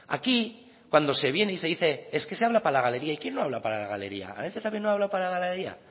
aquí cuando se viene y se dice es que se habla para la galería y quién no habla para la galería arantxa también no ha hablado para la galería